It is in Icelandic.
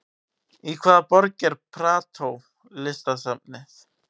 Í hvaða borg er Prado listasafnið?